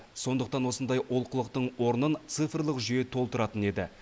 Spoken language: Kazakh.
сондықтан осындай олқылықтың орнын цифрлық жүйе толтыратын еді